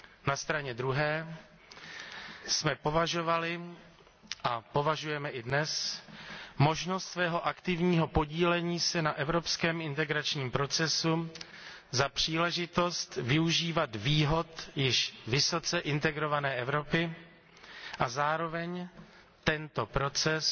Na straně druhé jsme považovali a považujeme i dnes možnost svého aktivního podílení se na evropském integračním procesu za příležitost využívat výhod již vysoce integrované Evropy a zároveň tento proces